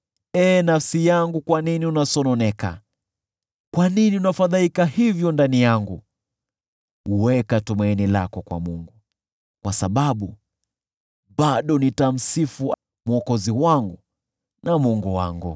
Ee nafsi yangu, kwa nini unasononeka? Kwa nini unafadhaika hivyo ndani yangu? Weka tumaini lako kwa Mungu, kwa sababu bado nitamsifu Mwokozi wangu na Mungu wangu.